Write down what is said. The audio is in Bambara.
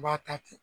I b'a ta ten